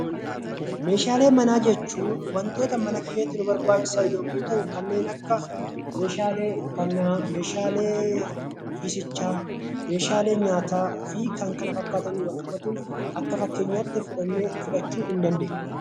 Meeshaalee manaa jechuun wantoota mana keessatti nu barbaachisan yommuu ta'u, kanneen akka meeshaalee uffannaa, meeshaalee ciisichaa fi kan kana fakkaataniin kan wal qabatu akka fakkeenyaatti fudhachuu dandeenya.